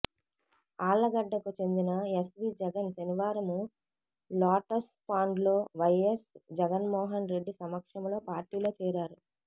ఆళ్లగడ్డకు చెందిన ఎస్వీ జగన్ శనివారం లోటస్పాండ్లో వైఎస్ జగన్మోహన్ రెడ్డి సమక్షంలో పార్టీలో చేరారు